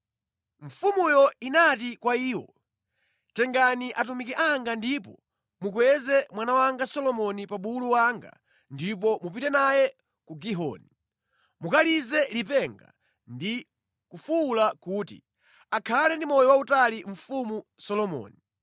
mfumuyo inati kwa iwo, “Tengani atumiki anga ndipo mukweze mwana wanga Solomoni pa bulu wanga ndipo mupite naye ku Gihoni. Mukalize lipenga ndi kufuwula kuti, ‘Akhale ndi moyo wautali mfumu Solomoni!’